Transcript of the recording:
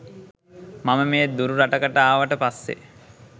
මම මේ දුරු රටකට ආවට පස්සේ